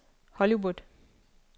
Hollywood